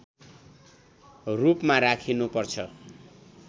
रूपमा राखिनुपर्छ